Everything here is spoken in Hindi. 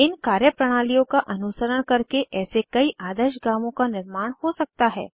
इन कार्यप्रणालियाँ का अनुसरण करके ऐसे कई आदर्श गाँवों का निर्माण हो सकता है